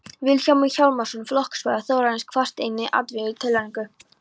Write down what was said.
Vilhjálmur Hjálmarsson, flokksbróðir Þórarins, kvaðst einnig andvígur tillögunni.